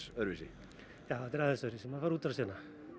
öðruvísi já þetta er aðeins öðruvísi maður fær útrás hérna